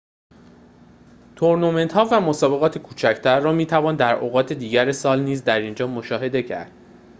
تورنمنت‌ها و مسابقات کوچکتر را می توان در اوقات دیگر سال نیز در اینجا مشاهده کرد